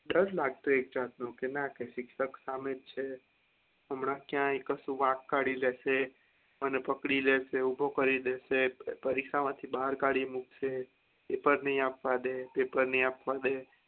દર લાગતો એક જાત નો એવું કે ના શિક્ષક સામેજ છે હમણાં ક્યાય કશું વાંક કાઢી લેશે અને પકડી લેશે, ઉભો કરી દેશે, પરીક્ષા માંથી બહાર કાઢી મુકશે paper નઈ આપવા દે paper નઈ આપવા દે